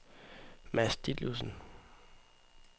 Mads Ditlevsen